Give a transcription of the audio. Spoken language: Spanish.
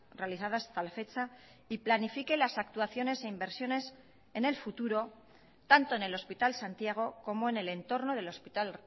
realizadas hasta la fecha y planifique las actuaciones e inversiones en el futuro tanto en el hospital santiago como en el entorno del hospital